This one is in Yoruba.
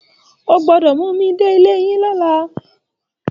O gbọ́dọ̀ mú mi dé ilé yín lọ́la